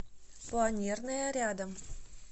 планерная рядом